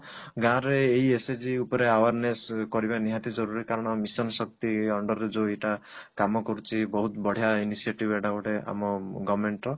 ଗାଁରେ ଏଇ SHG ଉପରେ awareness କରିବା ନିଜାତି ଜରୁରୀ କାରଣ mission ଶକ୍ତି under ରେ ଯଉ ଏଇଟା କାମ କରୁଛି ବହୁତ ବଢିଆ initiative ଏଇଟା ଗୋଟେ ଆମ government ର